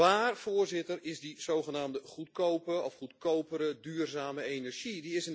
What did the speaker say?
Waar, Voorzitter, is die zogenaamde goedkope of goedkopere duurzame energie?